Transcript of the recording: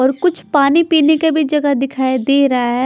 और कुछ पानी पीने के भी जगह दिखाई दे रहा है।